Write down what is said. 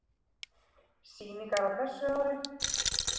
Sýningarnar á þessu ári